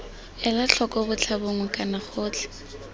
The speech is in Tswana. ela tlhoko botlhabongwe kana gotlhe